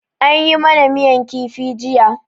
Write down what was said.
An yi ma na miyan kifi jiya.